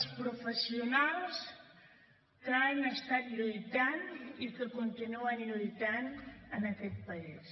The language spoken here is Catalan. els professionals que han estat lluitant i que continuen lluitant en aquest país